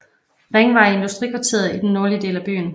Ringvej i industrikvarteret i den nordlige del af byen